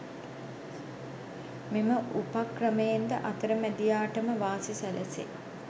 මෙම උපක්‍රමයෙන් ද අතරමැදියාට ම වාසි සැලසේ.